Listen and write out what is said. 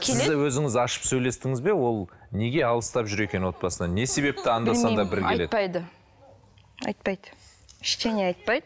сіз де өзіңіз ашып сөйлестіңіз бе ол неге алыстап жүр екен отбасынан не себепті анда санда бір келеді айтпайды айтпайды ештеңе айтпайды